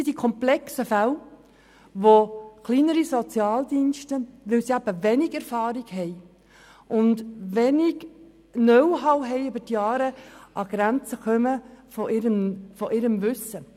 In solchen komplexen Fällen kommen die kleineren Sozialdienste an die Grenzen ihres Wissens, da sie wenig Erfahrung haben und sich über die Jahre hinweg wenig Know-how aneignen konnten.